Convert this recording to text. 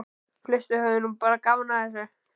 Flestir höfðu nú bara gaman að þessu.